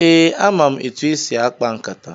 Ee, ama m etu esi akpa nkata.